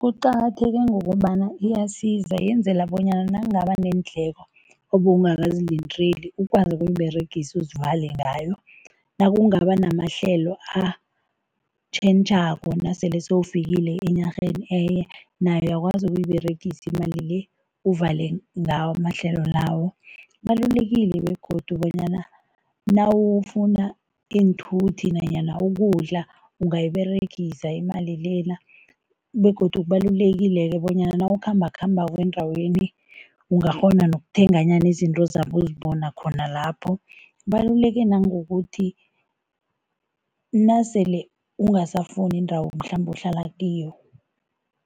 Kuqakatheke ngombana iyasiza, yenzela bonyana nakungaba neendleko obowungakazilindeli, ukwazi ukuyiberegisa uzivale ngayo, nakungaba namahlelo atjhentjhako nasele sewufikile enarheni enye, nayo uyakwazi ukuyiberegisa imali le, uvale ngawo amahlelo lawo. Kubalulekile begodu bonyana nawufuna iinthuthi nanyana ukudla, ungayiberegisa imali lena begodu kubalulekile-ke bonyana nawukhambakhambako endaweni, ungakghona nokuthenganyana izinto ozabe uzibona khona lapho. Kubaluleke nangokuthi nasele ungasafuni indawo mhlambe ohlala kiyo,